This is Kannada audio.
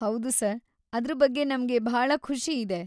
ಹೌದು ಸರ್‌, ಅದ್ರ್ ಬಗ್ಗೆ ನಮ್ಗೆ ಭಾಳ ಖುಷಿಯಿದೆ.